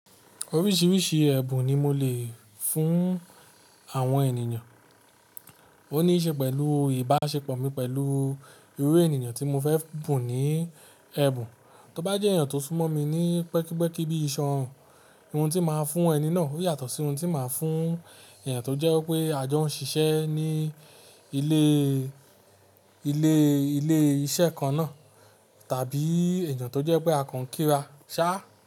Oríṣìíríṣìí ẹ̀bùn ni mo lè fún àwọn ènìyàn. Ó ní í ṣe pẹ̀lú ìbáṣepọ̀ mi pẹ̀lú irú ènìyàn tí mo fẹ́ bún ní ẹ̀bùn. Tóbá jẹ́ ènìyàn tó súnmọ́ mi ní pẹ́kípẹ́kí bí iṣọ́rùn, ohun tí màá fún ẹni náà ó yàtọ̀ sí ohun tí màá fún ènìyàn tó jẹ́ wipé a jọ ń ṣiṣẹ́ ní ilé, ilé, ilé iṣẹ́ kan náà tàbí ènìyàn tó jẹ́ pé a kan kíra ṣá.